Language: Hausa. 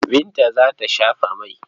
Binta za ta shafa mai.